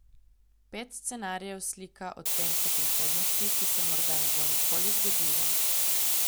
Pet scenarijev slika odtenke prihodnosti, ki se morda ne bo nikoli zgodila.